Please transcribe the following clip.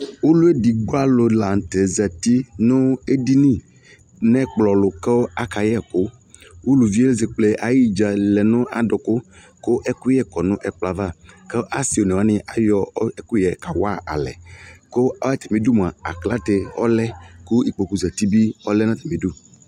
Ɔluedigbo alula zati nu ediŋi nu ɛkplɔ tʊ kayɛ ɛku ʊlʊvidi ezekple ayi dza yana adʊku ku ɛkuyɛ kɔ nu ɛkplɔ ava ku asi onewani ayɔ ɛkuyɛ kawa nalɛ ƙʊ atami du aklate ɔlɛ kʊ ikpokʊ zati bi ɔlɛ nu atamɩ idu